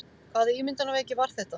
Hvaða ímyndunarveiki var þetta?